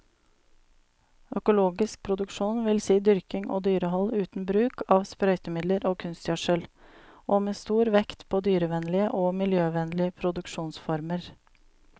Økologisk produksjon vil si dyrking og dyrehold uten bruk av sprøytemidler og kunstgjødsel, og med stor vekt på dyrevennlige og miljøvennlige produksjonsformer.